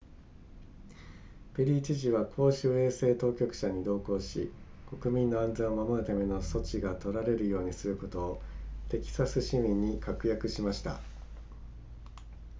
ペリー知事は公衆衛生当局者に同行し国民の安全を守るための措置が取られるようにすることをテキサス市民に確約しました